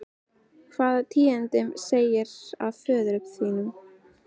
Hvaða tíðindi segirðu af föður mínum?